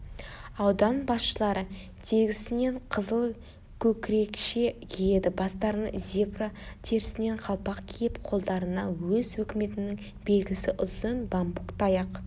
аудан басшылары тегісінен қызыл көкірекше киеді бастарына зебра терісінен қалпақ киіп қолдарына өз өкіметінің белгісі ұзын бамбук таяқ